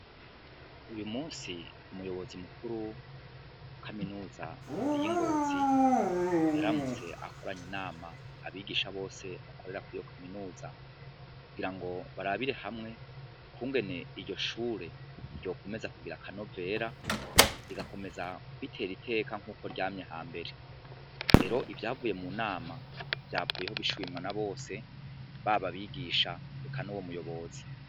Uyu musi umuyobozi mukuru wa kaminuza iy'ingozi yaramutse akoranye nama abigisha bose bakorera ku iyo kaminuza kugira ngo barabire hamwe ukungene iryo shure ryokumeza kugira akano vera rigakomeza kwitera iteka nk'uko ryame ha mbere rero ivyavuye mu nama vyavuyeho bishubimwana bose baba abigisha heka n'uwo muyobozi.